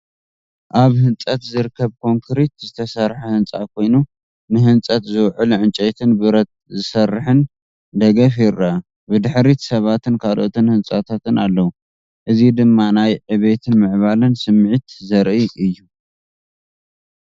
ኣብ ህንፀት ዝርከብ ብኮንክሪት ዝተሰርሐ ህንፃ ኮይኑ ንህንፀት ዝውዕል ዕንጨይትን ብረት ዝሰርሕን ደገፍ ይረአ። ብድሕሪት ሰባትን ካልኦት ህንጻታትን ኣለዉ። እዚ ድማ ናይ ዕብየትን ምዕባለን ስምዒት ዘርኢ እዩ።